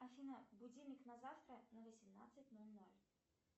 афина будильник на завтра на восемнадцать ноль ноль